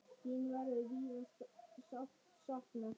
Þín verður víða sárt saknað.